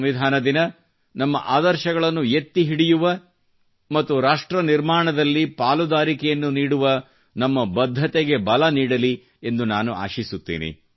ಸಂವಿಧಾನ ದಿನ ನಮ್ಮ ಆದರ್ಶಗಳನ್ನು ಎತ್ತಿ ಹಿಡಿಯುವ ಮತ್ತು ರಾಷ್ಟ್ರ ನಿರ್ಮಾಣದಲ್ಲಿ ಪಾಲುದಾರಿಕೆಯನ್ನು ನೀಡುವ ನಮ್ಮ ಬದ್ಧತೆಗೆ ಬಲ ನೀಡಲಿ ಎಂದು ನಾನು ಆಶಿಸುತ್ತೇನೆ